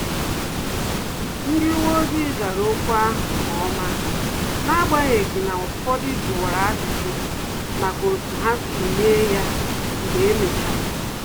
Ndị uwe ojii zara ọkụ ahụ nkeọma, n'agbanyeghị na-ụfọdụ juwara ajụjụ maka otu ha si mee ya mgbe emechara